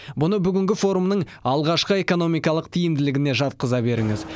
мұны бүгінгі форумның алғашқы экономикалық тиімділігіне жатқыза беріңіз